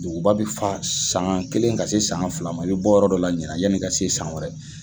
Duguba bi fa san kelen ka se san fila ma, i bi bɔ yɔrɔ dɔ la ɲina, yanni ka se yen san wɛrɛ